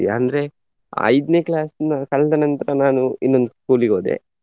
ಅಂದ್ರೆ ಐದ್ನೆ class ನು ಕಳ್ದ ನಂತ್ರ ನಾನು ಇನ್ನೊಂದು school ಗೆ ಹೋದೆ.